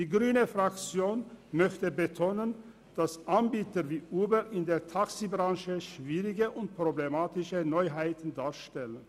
Die grüne Fraktion möchte betonen, dass Anbieter wie Uber in der Taxibranche schwierige und problematische Neuheiten darstellen.